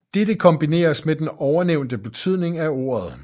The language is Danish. Dette kan kombineres med den ovennævnte betydning af ordet